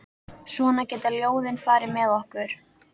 Svona geta ljóðin farið með okkur.